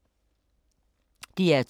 DR2